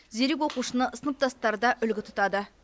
зерек оқушыны сыныптастары да үлгі тұтады